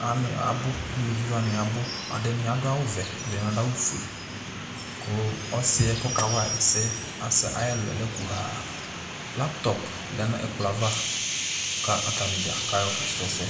wa nɩ abʋ ,aluvi wa nɩ abʋ; ɛɖɩ nɩ aɖʋ awʋ vɛ, ɛɖɩ nɩ aɖʋ awʋ fue, ƙʋ ɔsɩɛ ƙɔƙa wama ɛsɛ aƴʋ ɛlʋɛ lɛ ƙuarLaptɔp lɛ nʋ ɛƙplɔ ava ƙʋ ata nɩ ɖzaƙplo aƴɔ ƙa sʋ ɛsɛ